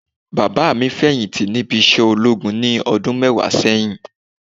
Bàbá mi feyinti níbi isẹ ológun ní ọdún mẹwa sẹ́yìn